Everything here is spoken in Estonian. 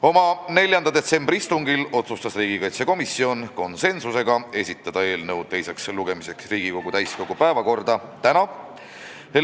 Oma 4. detsembri istungil otsustas riigikaitsekomisjon konsensusega esitada eelnõu teiseks lugemiseks Riigikogu täiskogu päevakorda tänaseks.